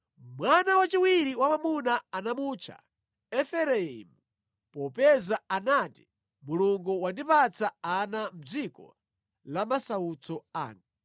Mwana wachiwiri wa mwamuna anamutcha Efereimu popeza anati, “Mulungu wandipatsa ana mʼdziko la masautso anga.”